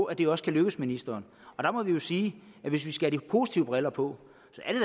at det også kan lykkes ministeren og der må vi jo sige hvis vi skal have de positive briller på